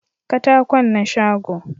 katakon na shago